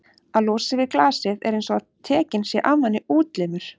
að losa sig við glasið er einsog að tekinn sé af manni útlimur.